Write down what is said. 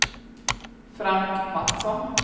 Frank Matsson